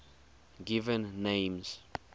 given names